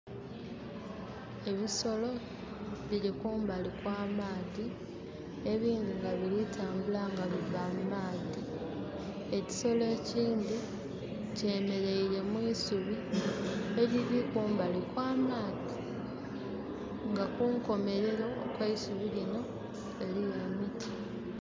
Ebisolo biri kumbali kwa maadhi, ebindhi nga biritambula nga biva mumaadhi. Ekisolo ekyindi kye mereire mwisubi eliri kumbali kwamaadhi nga kunkomerero okweisuubi lino eriyo emiti